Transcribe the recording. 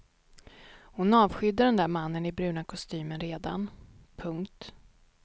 Hon avskydde den där mannen i bruna kostymen redan. punkt